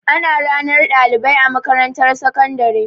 Ana ranar ɗalibai a makarantar sakandare.